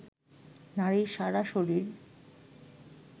নারীর সারা শরীর